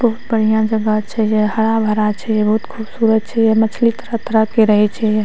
बहुत बढ़िया से गाछ छै जे हरा-भरा छै बहुत खूबसूरत छै मछली तरह-तरह के रहे छै या।